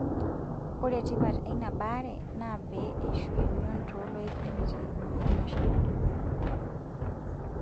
Ore tipat eina baare naa pee eishu emion tooloik nemitiki emoyian meshomo dukuya.